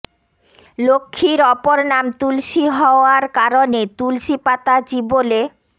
লক্ষ্মীর অপর নাম তুলসি হওয়ার কারণে তুলসি পাতা চিবোলে